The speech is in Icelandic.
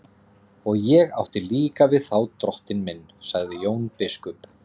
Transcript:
Og ég átti líka við þá drottinn minn, sagði Jón biskup.